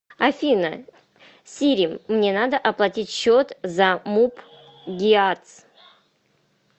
афина сири мне надо оплатить счет за муп гиац